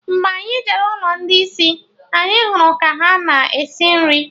Mgbe anyị jere n'ụlọ ndị isi, anyị hụrụ ka ha na-esi nri